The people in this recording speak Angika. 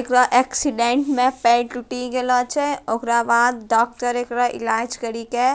एकरा एक्सीडेंट में पैर टूटी गेलो छे ओकरा बाद डॉक्टर एकरा इलाज करी के --